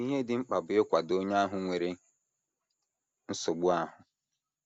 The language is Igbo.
Ihe dị mkpa bụ ịkwado onye ahụ nwere nsogbu ahụ.